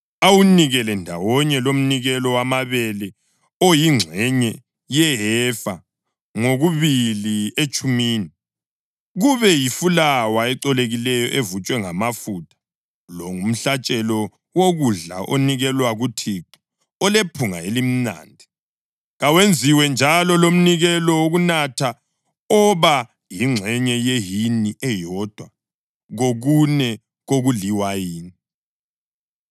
awunikele ndawonye lomnikelo wamabele oyingxenye yehefa ngokubili etshumini, kube yifulawa ecolekileyo evutshwe ngamafutha. Lo ngumhlatshelo wokudla onikelwa kuThixo olephunga elimnandi. Kawenziwe njalo lomnikelo wokunatha oba yingxenye yehini eyodwa kokune kuliwayini.